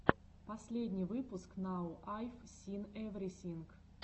последний выпуск нау айв син эврисинг